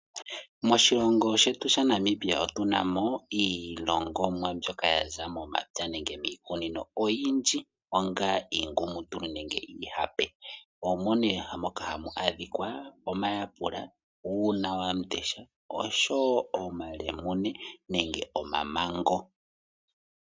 Moshilongo shetu shaNamibia otu na mo iilongomwa mbyoka ya za momapya nenge miikunino oyindji onga iingumutulu nenge iihape, omo nee ha mu adhika omayapula, uunawambundesha nosho wo omalemune nenge omamango.